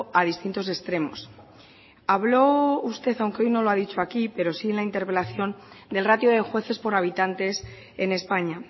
a distintos extremos habló usted aunque hoy no lo ha dicho aquí pero sí en la interpelación del ratio de jueces por habitantes en españa